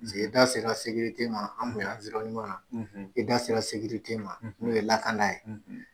i da sera sekirite ma i da sera sekirite ma n'o ye lakana ye.